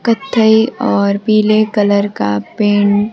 कत्थई और पीले कलर का पेंट --